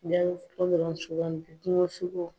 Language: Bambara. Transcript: Jaabi fɔlɔ dɔrɔn sugandi : kungo sogo.